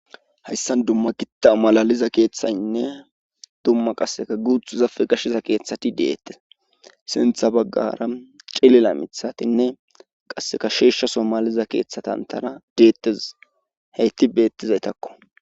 hayssan dumma gitta malaliza keeththaynne dumma qasseka guuthu zafe gashiza keeththati deettes sintha baggara cilila mithatinne qasseka sheeshsha somaliza keeththatantana deettez heytti beettizaytakko